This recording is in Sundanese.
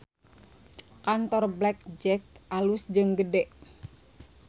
Kantor Black Jack alus jeung gede